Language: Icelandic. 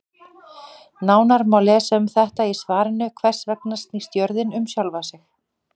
Nánar má lesa um þetta í svarinu Hvers vegna snýst jörðin um sjálfa sig?